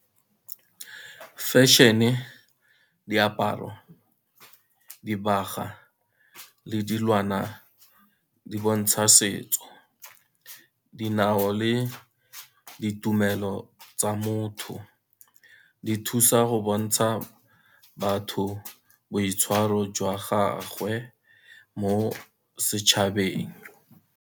Fashion-e, diaparo, dibaga le dilwana di bontsha setso. Dinao le ditumelo tsa motho, di thusa go bontsha batho boitshwaro jwa gagwe mo setšhabeng.